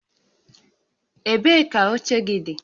Ebee ka oche gị dị?